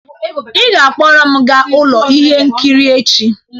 Ị ga-akpọrọ m gaa ụlọ ihe nkiri echi!